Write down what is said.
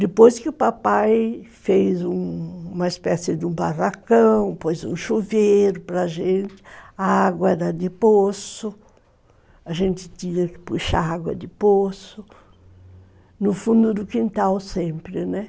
Depois que o papai fez uma espécie de um barracão, pôs um chuveiro para gente, a água era de poço, a gente tinha que puxar água de poço, no fundo do quintal sempre, né?